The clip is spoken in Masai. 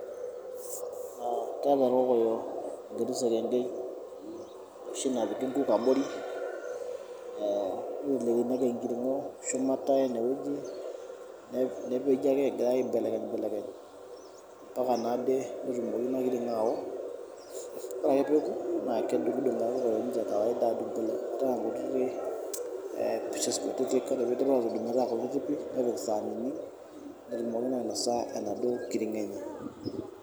Aaa keeta ikokoyo inkuti sekenke, oshi napiki inkuk abori ee, nitelekini ake enkiring'o shumata ene weji nepiki egirai naake aibelekeny belekeny, ampaka naade netumoki ina kiring'o aao, ore ake peeoku naa kedung'udung' ake duo kawaida adung' meeta kutiti ee cs[pieces]cs kutiti kore piidip aatudung' meeta pieces kutiti pii nepik isaanini netumoki naa ainosa enaduo kiring'o enye.